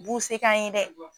U b'u se k'an ye dɛ.